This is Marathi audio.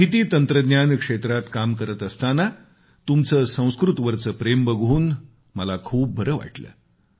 माहिती तंत्रज्ञान क्षेत्रात काम करत असताना तुमचं संस्कृतवरचं प्रेम बघून मला खूप बरं वाटलं